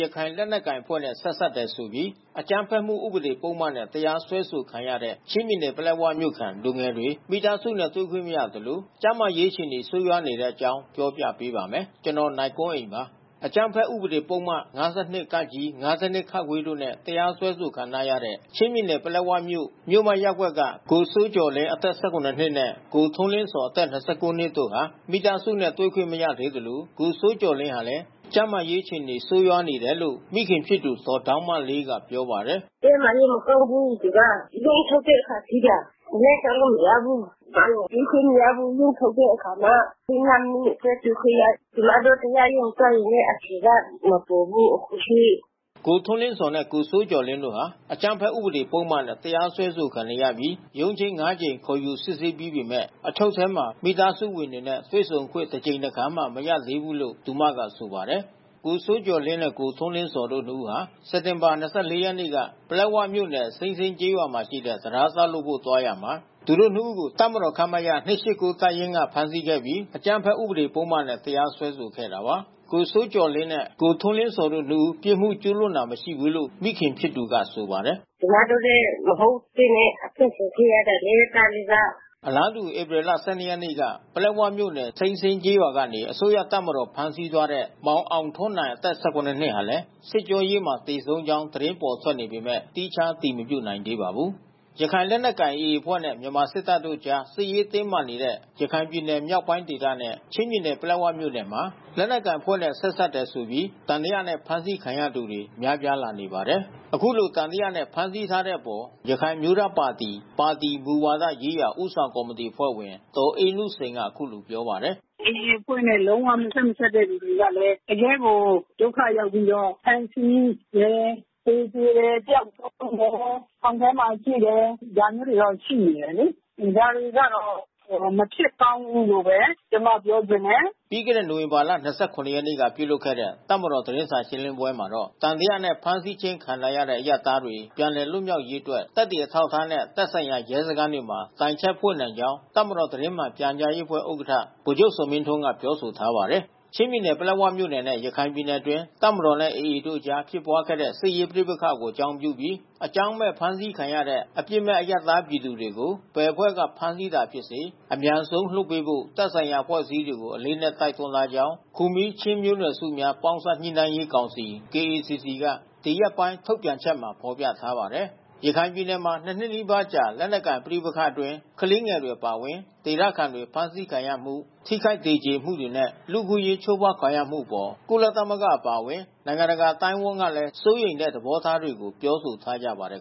ရခိုင်လက်နက်ကိုင်အဖွဲ့နဲ့ ဆက်စပ်တယ်ဆိုပြီး အကြမ်းဖက်မှုဥပဒေပုဒ်မနဲ့ တရားစွဲဆိုခံရတဲ့ ချင်းပြည်နယ် ပလက်ဝမြို့ခံ လူငယ်တွေ မိသားစုနဲ့ တွေ့ခွင့်မရသလို ကျန်းမာရေးအခြေအနေ ဆိုးရွားနေတဲ့အကြောင်းကို ဗွီအိုအေမြန်မာပိုင်း သတင်းထောက် ကိုနိုင်ကွန်းအိန်က ပြောပြပေးပါမယ်။ အကြမ်းဖက်ဥပဒေ ပုဒ်မ ၅၂ (က)၊ ၅၂ (ခ)တို့နဲ့ တရားစွဲဆိုခံထားရတဲ့ ချင်းပြည်နယ်ပလက်ဝမြို့ မြို့မရပ်ကွက်က ကိုစိုးကျော်လင်း အသက် ၁၇ နှစ်နှင့် ကိုထွန်းလင်းဇော် အသက် ၂၉ နှစ်တို့ဟာ မိသားစုနဲ့ တွေ့ခွင့်မရသေးသလို ကိုစိုးကျော်လင်းဟာလည်း ကျန်းမာရေးအခြေအနေဆိုးရွားနေတယ်လို့ မိခင်ဖြစ်သူ ဒေါ်ဒေါင်းမလေးက ပြောပါတယ်။ “ကျန်းမာရေး မကောင်းဘူးသူက။ ရုံးထုတ်တဲ့အခါ သိတာ။ လမ်းလျှောက်လို့ မရဘူး။ ကျမတို့တွေ့ခွင့်မရဘူး။ ရုံးထုတ်တဲ့အခါမှ ၅ မိနစ်တွေ့ခွင့်ရတယ်၊ ကျမတို့ သွားရုံနဲ့ အဖြေကမပေါ်ဘူး အခုထိ။” ကိုထွန်းလင်းဇော်နဲ့ ကိုစိုးကျော်လင်းဟာ အကြမ်းဖက်ဥပဒေ ပုဒ်မနဲ့ တရားစွဲခြင်းခံနေရပြီးရုံးချိန်း ၅ ကြိမ် ခေါ်ယူစစ်ဆးပြီးပေမဲ့ အချုပ်ထဲမှာ မိသားစုဝင်တွေနဲ့ တွေ့ဆုံခွင့်တစ်ကြိမ်တစ်ခါမျှ မရရှိသေးဘူးလို့ သူမက ဆိုပါတယ်။ ကိုစိုးကျော်လင်းနဲ့ ကိုထွန်းလင်းဇော်တို့ နှစ်ဦးဟာ စက်တင်ဘာလ ၂၄ ရက်နေ့က ပလက်ဝမြို့နယ် စိမ်းစင်း ကျေးရွာမှာ ရှိတဲ့ တံတားဆောက်လုပ်ဖို့ သွားရာမှာ သူတို့ နှစ်ဦးကို တပ်မတော် ခမရ ၂၈၉ တပ်ရင်းက ဖမ်းဆီးခဲ့ပြီး အကြမ်းဖက်ဥပဒေ ပုဒ်မနဲ့ တရားစွဲဆိုခဲ့တာပါ။ ကိုစိုးကျော်လင်းနဲ့ ကိုထွန်းလင်းဇော်တို့ နှစ်ဦး ပြစ်မှု ကျူးလွန်တာ မရှိဘူးလို့ မိခင်ဖြစ်သူကဆိုပါတယ်။ “ကျမတို့လည်း မဟုတ်ဘဲနဲ့ အချုပ်ခံခဲ့ရတယ်လေ သားလေးက။” အလားတူ ဧပြီလ ၁၂ ရက်နေ့ပလက်ဝမြို့နယ် စိမ်းစင်းကျေးရွာကနေ အစိုးရတပ်မတော်ကဖမ်းဆီးသွားတဲ့ မောင်အောင်ထွန်းနိုင် အသက် ၁၇ နှစ်ဟာလည်း စစ်ကြောရေးမှာ သေဆုံးကြောင်း သတင်းထွက်ပေါ်နေပေမဲ့ သီးခြား အတည်မပြုနိုင်သေးပါဘူး။ ရခိုင်လက်နက်ကိုင် AA အဖွဲ့နဲ့ မြန်မာစစ်တပ်တို့ အကြားစစ်ရေးတင်းမာနေတဲ့ ရခိုင်ပြည်နယ်မြောက်ပိုင်းဒေသနဲ့ ချင်းပြည်နယ် ပလက်ဝမြို့နယ်မှာ လက်နက်ကိုင်အဖွဲ့နဲ့ ဆက်စပ်တယ်ဆိုပြီး သံသယနဲ့ ဖမ်းဆီးခံရသူတွေ များပြားလာနေပါတယ်။ အခုလိုသံသယနဲ့ ဖမ်းဆီးထားတဲ့အပေါ် ရခိုင်အမျိုးသားပါတီ ပါတီမူဝါဒရေးရာ ဦးဆောင်ကော်မတီ အဖွဲ့ဝင်ဒေါ်အေးနုစိန်ကအခုလိုပြောပါတယ်။ “AA အဖွဲ့နဲ့ လုံး၀ မဆက်မစပ်သူတွေကလည်း တကယ့်ကို ဒုက္ခရောက်ပြီးတော့ ဖမ်းဆီးတယ်၊ သေကြေတယ်၊ ပျောက်ဆုံးတယ်၊ ထောင်ထဲမှာ ရှိတယ်။ ဒါမျိုးတွေ ရှိနေတယ်လေ။ ဒါတွေကတော့ မဖြစ်ကောင်းဘူးလို့ဘဲ ကျမပြောချင်တယ်။” ပြီးခဲ့တဲ့ နိုဝင်ဘာလ ၂၇ ရက်နေ့က ပြုလုပ်ခဲ့တဲ့ တပ်မတော်သတင်းစာရှင်းလင်းပွဲမှာတော့ သံသယနဲ့ ဖမ်းဆီးခြင်းခံထားရတဲ့ အရပ်သားတွေ ပြန်လည်လွတ်မြောက်ရေးအတွက် သက်သေအထောက်အထားနဲ့ သက်ဆိုင်ရာ ရဲစခန်းတွေမှာ တိုင်ချက်ဖွင့်နိုင်ကြောင်း တပ်မတော်သတင်းမှန် ပြန်ကြားရေးအဖွဲ့ဥက္ကဋ္ဌ ဗိုလ်ချုပ် ဇော်မင်းထွန်း က ပြောဆိုထားပါတယ်။ ချင်းပြည်နယ်၊ ပလက်ဝမြို့နယ်နဲ့ ရခိုင်ပြည်နယ်အတွင်း တပ်မတော်နှင့် AA တို့ကြားဖြစ်ပွားခဲ့တဲ့ စစ်ရေး ပဋိပက္ခအကြောင်းပြုပြီး အကြောင်းမဲ့ ဖမ်းဆီးခံရတဲ့ အပြစ်မဲ့အရပ်သားပြည်သူတွေကို ဘယ်အဖွဲ့က ဖမ်းဆီးတာဖြစ်စေ အမြန်ဆုံးလွှတ်ပေးဖို့ သက်ဆိုင်ရာအဖွဲ့အစည်းတွေကို အလေးအနက်တိုက်တွန်းထားကြောင်း ခူမီးချင်းလူမျိုးနွယ်စုများ ပေါင်းစပ်ညှိနှိုင်းရေးကောင်စီ KACC က ဒီရက်ပိုင်းထုတ်ပြန်ချက်မှာ ဖေါ်ပြထားပါတယ်။ ရခိုင်ပြည်နယ်မှာ ၂ နှစ်နီးပါးကြာ လက်နက်ကိုင် ပဋိပက္ခတွေအတွင်း ကလေးငယ်တွေ အပါအဝင် ဒေသခံတွေ ဖမ်းဆီးခံရမှု ထိခိုက်သေကြေမှုတွေနဲ့ လူ့အခွင့်အရေး ချိုးဖောက်ခံရမှုတွေအပေါ် ကုလသမဂ္ဂအပါအဝင် နိုင်ငံတကာ အသိုင်းအဝန်းကလည်း စိုးရိမ်တဲ့ သဘောထားတွေကို ပြောဆိုထားကြပါတယ်